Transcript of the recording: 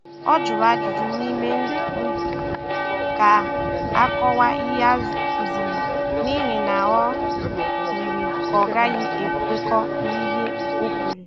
Ọ jụrụ ajụjụ n’ime nzuzo ka a kọwaa ihe a kụziri, n’ihi na o yiri ka ọ ghaghị ekwekọ n’ihe ọ kweere.